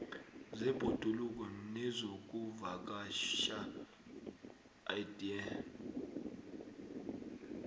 zebhoduluko nezokuvakatjha idea